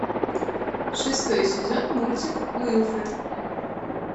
шестой сезон мультик уилфред